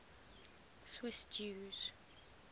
swiss jews